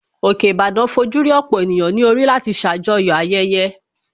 Òkè Ìbàdàn fojú rí ọ̀pọ̀ ènìyàn ní orí láti ṣàjọyọ̀ ayẹyẹ